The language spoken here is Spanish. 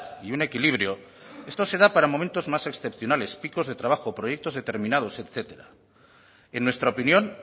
y un equilibrio esto se da para momentos más excepcionales picos de trabajo proyectos determinados etcétera en nuestra opinión